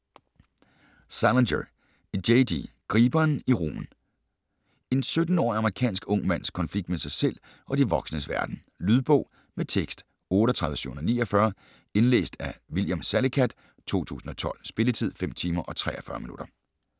Salinger, J. D.: Griberen i rugen En 17-årig amerikansk ung mands konflikt med sig selv og de voksnes verden. Lydbog med tekst 38749 Indlæst af William Salicath, 2012. Spilletid: 5 timer, 43 minutter.